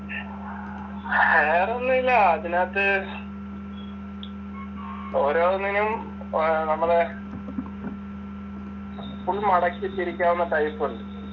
വേറേ ഒന്നുമില്ല അതിനകത്ത് ഓരോന്നിനും നമ്മള് ഫുള്ള് മടക്കി തിരിക്കാവുന്ന ടൈപ്പ് ഉണ്ട്.